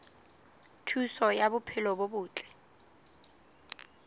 thuso ya bophelo bo botle